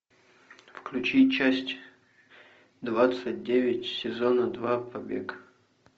включи часть двадцать девять сезона два побег